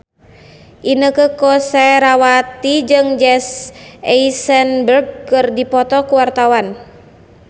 Inneke Koesherawati jeung Jesse Eisenberg keur dipoto ku wartawan